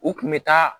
U kun bɛ taa